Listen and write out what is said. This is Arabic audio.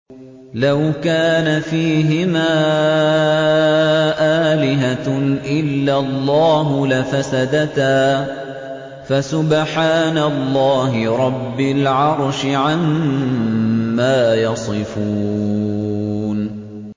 لَوْ كَانَ فِيهِمَا آلِهَةٌ إِلَّا اللَّهُ لَفَسَدَتَا ۚ فَسُبْحَانَ اللَّهِ رَبِّ الْعَرْشِ عَمَّا يَصِفُونَ